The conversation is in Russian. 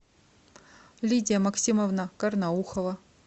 лидия максимовна карнаухова